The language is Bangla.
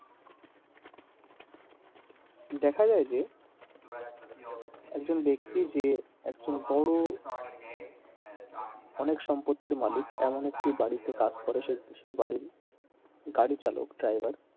দেখা যায় যে একজন ব্যাক্তি যে একজন বড়ো অনেক সম্পত্তির মালিক এমন একটি বাড়িতে কাজ করে সে সেই বাড়ির গাড়িচালক driver,